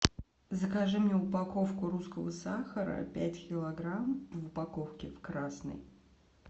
закажи мне упаковку русского сахара пять килограмм в упаковке красной